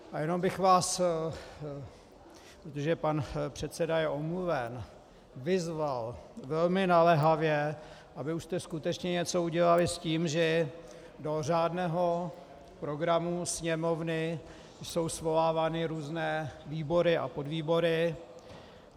A jenom bych vás, protože pan předseda je omluven, vyzval velmi naléhavě, abyste už skutečně něco udělali s tím, že do řádného programu Sněmovny jsou svolávány různé výbory a podvýbory.